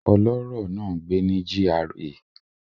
Ọlọ́rọ̀ náà ń gbé ní GRA